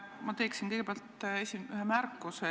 Ma teen kõigepealt ühe märkuse.